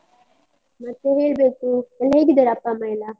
ಮತ್ತೆ ಹೇಳ್ಬೇಕು, ಎಲ್ಲ ಹೇಗಿದ್ದಾರೆ ಅಪ್ಪ ಅಮ್ಮ ಎಲ್ಲಾ?